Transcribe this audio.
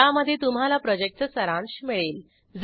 ज्यामध्ये तुम्हाला प्रॉजेक्टचा सारांश मिळेल